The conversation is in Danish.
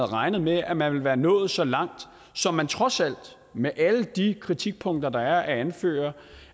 regnet med at man ville være nået så langt som man trods alt med alle de kritikpunkter der er at anføre